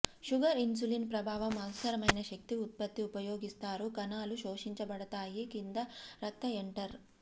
sugar insulin ప్రభావం అవసరమైన శక్తి ఉత్పత్తి ఉపయోగిస్తారు కణాలు శోషించబడతాయి కింద రక్త ఎంటర్